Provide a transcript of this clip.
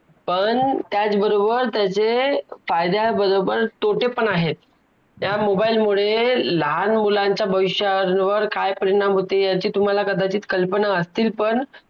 पण त्याच बरोबर त्याचे फायद्या बरोबर तोटे पण आहेत त्या mobile मुले लहान मुलाच्या भविष्यावर काय परिणाम होते याची तुम्हाला कदाचित कल्पना असतील पण